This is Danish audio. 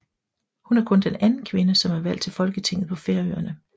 Hun er kun den anden kvinde som er valgt til Folketinget på Færøerne